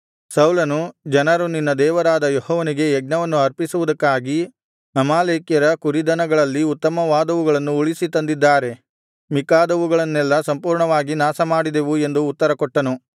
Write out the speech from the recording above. ಸೌಲನು ಜನರು ನಿನ್ನ ದೇವರಾದ ಯೆಹೋವನಿಗೆ ಯಜ್ಞವನ್ನು ಅರ್ಪಿಸುವುದಕ್ಕಾಗಿ ಅಮಾಲೇಕ್ಯರ ಕುರಿದನಗಳಲ್ಲಿ ಉತ್ತಮವಾದವುಗಳನ್ನು ಉಳಿಸಿ ತಂದಿದ್ದಾರೆ ಮಿಕ್ಕಾದವುಗಳನ್ನೆಲ್ಲಾ ಸಂಪೂರ್ಣವಾಗಿ ನಾಶಮಾಡಿದೆವು ಎಂದು ಉತ್ತರಕೊಟ್ಟನು